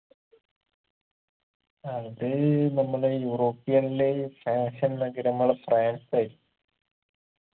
അത് നമ്മളെ european ല് fashion നഗരമുള്ള ഫ്രാൻസ് ആയിരിക്കും